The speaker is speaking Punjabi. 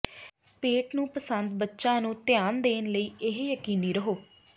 ਪੇਟ ਨੂੰ ਪਸੰਦ ਬੱਚਾ ਨੂੰ ਧਿਆਨ ਦੇਣ ਲਈ ਇਹ ਯਕੀਨੀ ਰਹੋ